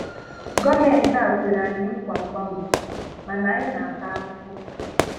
Gọọmentị a kwere anyi nkwa mgbanwe, mana anyị na-ata afụfụ.